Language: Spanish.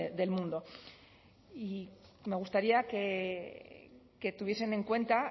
del mundo y me gustaría que tuviesen en cuenta